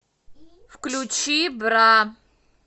включи бра